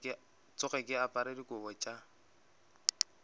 tsoge ke apere dikobo tša